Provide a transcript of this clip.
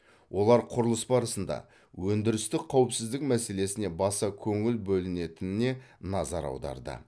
олар құрылыс барысында өндірістік қауіпсіздік мәселесіне баса көңіл бөлінетініне назар аударды